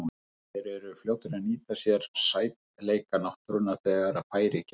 Þeir eru fljótir að nýta sér sætleika náttúrunnar þegar færi gefst.